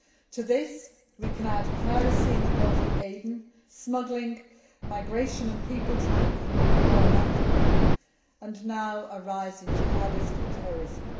To this we can add piracy in the Gulf of Aden, smuggling, migration and people trafficking from the Horn of Africa and, now, a rise in jihadist terrorism.